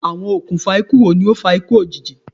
Awọn okunfa iku wo ni o fa iku iku ojiji?